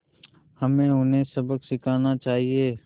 हमें उन्हें सबक सिखाना चाहिए